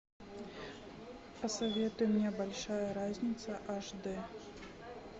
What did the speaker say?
посоветуй мне большая разница аш д